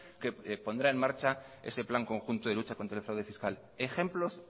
que pondrá en marcha ese plan conjunto de lucha contra el fraude fiscal ejemplos